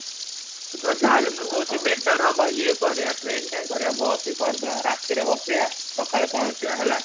ତାହେଲେ ମୁ କହୁଛି ବେଟାର ହବ ଈଏ କରିବା ବସ ଟା ହି କରିଡବା ରାତି ରେ ବସିବା ସକାଳେ ପହଁକହିବ ହେଲା |